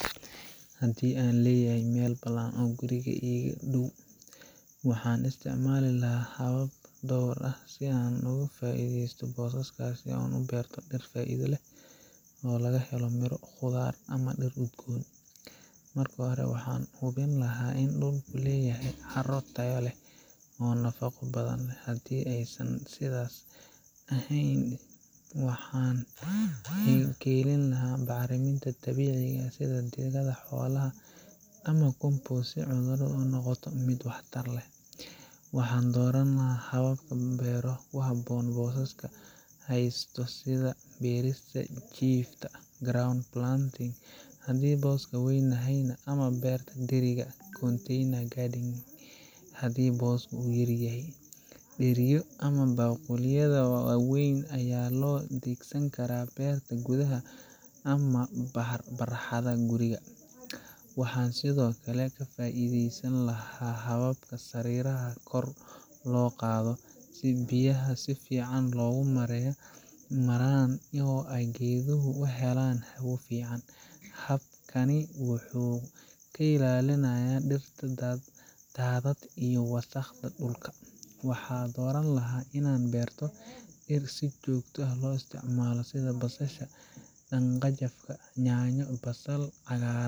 Haddii aan leeyahay meel bannaan oo guriga iga ag dhow, waxaan isticmaali lahaa habab dhowr ah si aan uga faa’iideysto booskaas una beero dhir faa’iido leh oo laga helo miro, khudaar ama dhir udgoon. Marka hore, waxaan hubin lahaa in dhulku leeyahay carro tayo leh oo nafaqo badan. Haddii aysan sidaas ahayn, waxaan keenilahaa bacriminta dabiiciga ah sida digada xoolaha ama compost si carradu u noqoto mid wax tar leh. Waxaan dooran lahaa hababka beero ku habboon booska aan haysto sida beerta jiifta ground planting haddii booska weynyahay, ama beerta dheriga container gardening haddii booska yar yahay. Dheriyo ama baaquliyada waaweyn ayaa loo adeegsan karaa beerta gudaha ama barxadda guriga. Waxaan sidoo kale ka faa’iideysan lahaa habka sariiraha kor loo qaado si biyaha si fiican u maraan oo ay geeduhu u helaan hawo fiican. Habkani wuxuu ka ilaalinayaa dhirta daadad iyo wasakhda dhulka. Waxaan dooran lahaa inaan beero dhir si joogto ah loo isticmaalo sida basasha, dhanjafka, yaanyo, basal cagaaran,